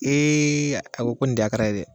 Ee a ko ko nin tɛ akara ye dɛ